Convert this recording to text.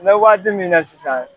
N mɛ waati min na sisan